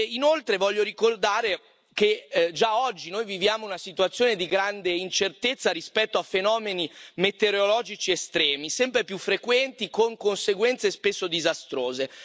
Inoltre voglio ricordare che già oggi noi viviamo una situazione di grande incertezza rispetto a fenomeni metereologici estremi, sempre più frequenti, con conseguenze spesso disastrose.